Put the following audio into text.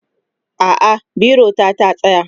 a'a biro ta ta tsaya